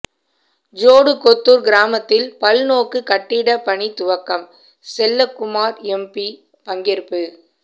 ஜோடுகொத்தூர் கிராமத்தில் பல் நோக்கு கட்டிட பணி துவக்கம் செல்லக்குமார் எம்பி பங்கேற்பு